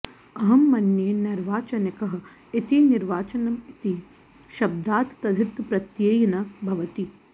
अहं मन्ये नैर्वाचनिकः इति निर्वाचनम् इति शब्दात् तद्धितप्रत्ययेन भवति